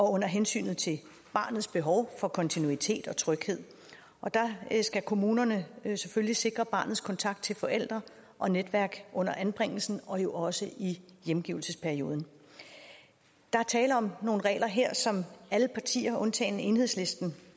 under hensyn til barnets behov for kontinuitet og tryghed og der skal kommunerne selvfølgelig sikre barnets kontakt til forældre og netværk under anbringelsen og jo også i hjemgivelsesperioden der er tale om nogle regler her som alle partier undtagen enhedslisten